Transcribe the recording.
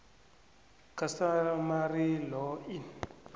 customary law in